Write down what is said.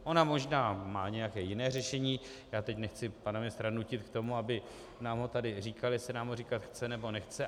Ona možná má nějaké jiné řešení, já teď nechci pana ministra nutit k tomu, aby nám ho tady říkal, jestli nám ho říkat chce, nebo nechce.